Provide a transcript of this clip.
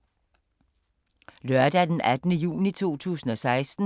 Lørdag d. 18. juni 2016